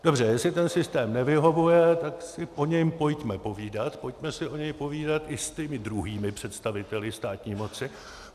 Dobře, jestli ten systém nevyhovuje, tak si o něm pojďme povídat, pojďme si o něm povídat i s těmi druhými představiteli státní moci.